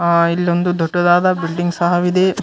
ಅಹ್ ಇ ಲ್ಲೊಂದು ದೊಡ್ಡದಾದ ಬಿಲ್ಡಿಂಗ್ ಸಹವಿದೆ .